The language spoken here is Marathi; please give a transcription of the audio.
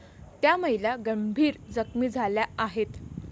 त्या महिला गंभीर जखमी झाल्या आहेत.